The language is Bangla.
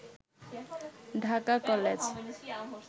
ঢাকা কলেজ